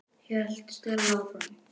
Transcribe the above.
hélt Stella áfram.